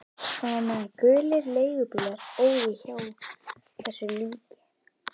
Og á meðan gulir leigubílar óðu hjá þessu lík